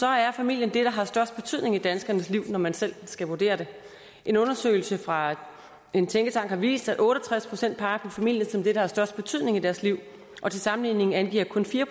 er familien det der har størst betydning i danskernes liv når man selv skal vurdere det en undersøgelse fra en tænketank har vist at otte og tres procent peger på familien som det der har størst betydning i deres liv til sammenligning angiver kun fire